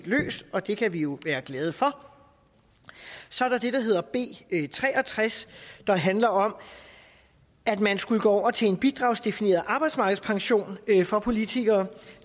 løst og det kan vi jo være glade for så er der det der hedder b tre og tres der handler om at man skulle gå over til en bidragsdefineret arbejdsmarkedspension for politikere